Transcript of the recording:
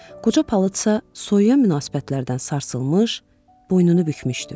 Qoca palıtsa soyuyan münasibətlərdən sarsılmış, boynunu bükmüşdü.